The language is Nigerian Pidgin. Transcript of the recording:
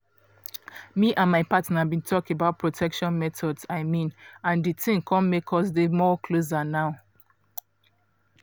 me and my partner been talk about protection methods i mean and the thing come make us dey more closer now